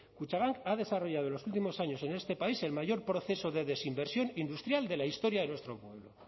kutxabank ha desarrollado en los últimos años en este país el mayor proceso de desinversión industrial de la historia de nuestro pueblo